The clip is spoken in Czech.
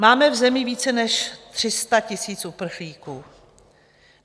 Máme v zemi více než 300 000 uprchlíků.